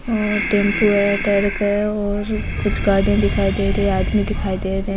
और टेम्पू है ट्रक है और कुछ गड़िया दिखाई दे री है आदमी दिखाई दे रे है।